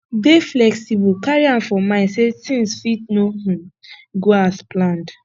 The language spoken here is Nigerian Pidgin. dey flexible carry am for mind sey things fit no um go as planned